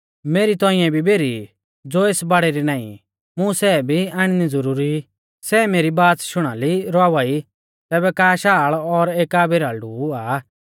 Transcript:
मेरी तौंइऐ भी भेरी ई ज़ो एस बाड़ै री नाईं ई मुं सै भी आणनी ज़ुरुरी ई सै मेरी बाच़ शुणाली रवावा ई तैबै एका शाल़ और एका भेराल़ड़ु हुआ